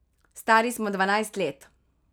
Stari smo dvanajst let.